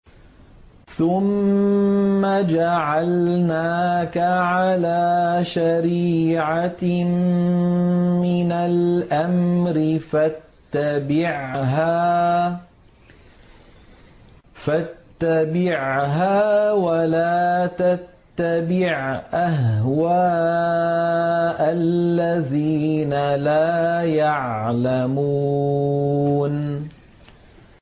ثُمَّ جَعَلْنَاكَ عَلَىٰ شَرِيعَةٍ مِّنَ الْأَمْرِ فَاتَّبِعْهَا وَلَا تَتَّبِعْ أَهْوَاءَ الَّذِينَ لَا يَعْلَمُونَ